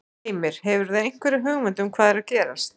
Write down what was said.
Heimir: Hefurðu einhverja hugmynd um hvað er að gerast?